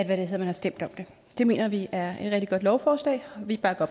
man har stemt om det det mener vi er et rigtig godt lovforslag og vi bakker